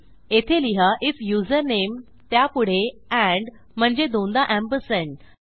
येथे लिहा IF username त्यापुढे एंड म्हणजे दोनदा एम्परसँड